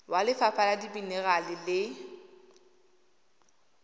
wa lefapha la dimenerale le